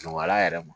Nɔgɔya yɛrɛ ma